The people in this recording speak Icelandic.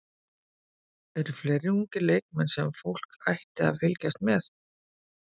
Eru fleiri ungir leikmenn sem fólk ætti að fylgjast með?